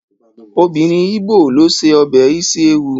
Obìnrin ígbò ló ṣe ọbẹ̀ isi ewu